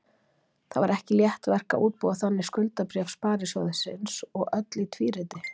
Það var ekki létt verk að útbúa þannig skuldabréf sparisjóðsins og öll í tvíriti.